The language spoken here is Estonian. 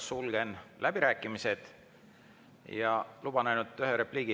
Sulgen läbirääkimised ja luban endale ühe repliigi.